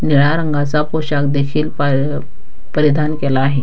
निळ्या रंगाचा पोशाख देखील पारि परिधान केला आहे.